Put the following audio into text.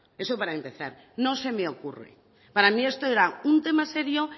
eso para empezar no se me ocurre para mí esto era un tema serio